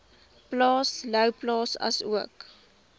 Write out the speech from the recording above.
plaas louwplaas asook